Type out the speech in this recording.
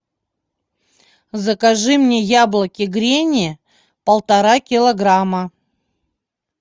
закажи мне яблоки гренни полтора килограмма